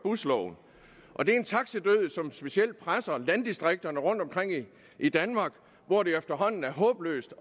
busloven og det er en taxidød som specielt presser landdistrikterne rundtomkring i danmark hvor det efterhånden er håbløst